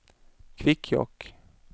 Kvikkjokk